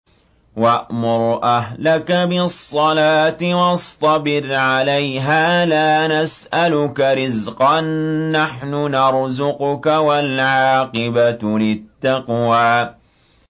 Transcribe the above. وَأْمُرْ أَهْلَكَ بِالصَّلَاةِ وَاصْطَبِرْ عَلَيْهَا ۖ لَا نَسْأَلُكَ رِزْقًا ۖ نَّحْنُ نَرْزُقُكَ ۗ وَالْعَاقِبَةُ لِلتَّقْوَىٰ